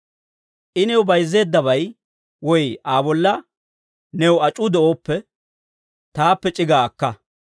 I new bayizzeeddabay woy Aa bolla new ac'uu de'ooppe, taappe c'igaa akka.